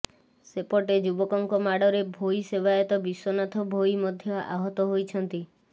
ସେପଟେ ଯୁବକଙ୍କ ମାଡ଼ରେ ଭୋଇ ସେବାୟତ ବିଶ୍ୱନାଥ ଭୋଇ ମଧ୍ୟ ଆହତ ହୋଇଛନ୍ତି